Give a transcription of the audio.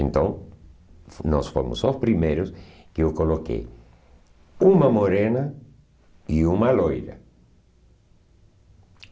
Então, nós fomos os primeiros que eu coloquei uma morena e uma loira.